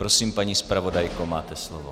Prosím, paní zpravodajko, máte slovo.